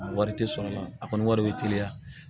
Wari tɛ sɔrɔ a la a kɔni wari bɛ teliya